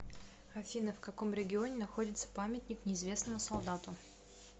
афина в каком регионе находится памятник неизвестному солдату